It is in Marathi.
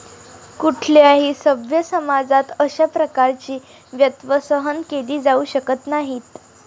कुठल्याही सभ्य समाजात अशा प्रकारची वक्तव्य सहन केली जाऊ शकत नाहीत.